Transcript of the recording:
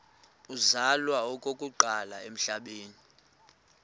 uzalwa okokuqala emhlabeni